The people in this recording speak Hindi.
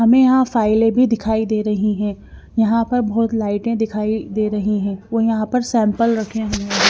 हमें यहां फाइलें भी दिखाई दे रही हैं यहां पर बहुत लाइटें दिखाई दे रही हैं वो यहां पर सैंपल रखे हुए हैं।